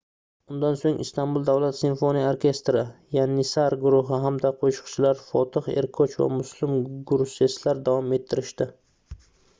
undan soʻng istanbul davlat simfoniya orkestri yanissar guruhi hamda qoʻshiqchilar fotih erkoch va muslum gurseslar davom ettirishdi